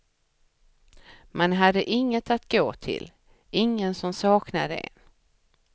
Man hade inget att gå till, ingen som saknade en.